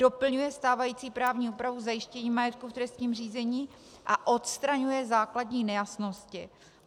Doplňuje stávající právní úpravu zajištění majetku v trestním řízení a odstraňuje základní nejasnosti.